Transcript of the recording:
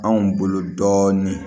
Anw bolo dɔɔnin